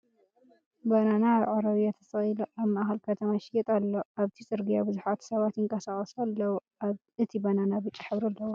ባናና ኣብ ዕረብያ ተሰቂሉ ኣብ ማእከል ከተማ ይሽይጥ ኣሎ ። ኣብቲ ፅርግያ ቡዙሓት ሰባት ይንቀሳቀሱ ኣልዉ ። እቲ ባናና ብጫ ሕብሪ ኣለዎ ።